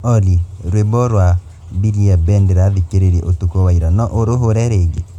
olly rwĩmbo rwa mbilia bel ndirathikĩrĩirie ũtukũ wa ira no ũrũhũre rĩngĩ